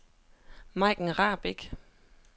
Majken Rahbek